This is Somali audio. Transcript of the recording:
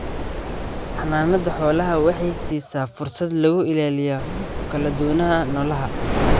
Xannaanada xoolaha waxay siisaa fursad lagu ilaaliyo kala duwanaanshaha noolaha.